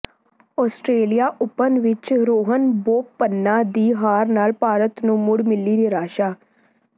Australian Open ਵਿਚ ਰੋਹਨ ਬੋਪੰਨਾ ਦੀ ਹਾਰ ਨਾਲ ਭਾਰਤ ਨੂੰ ਮੁੜ ਮਿਲੀ ਨਿਰਾਸ਼ਾ